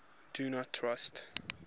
do not trust